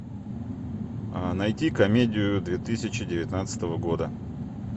найти комедию две тысячи девятнадцатого года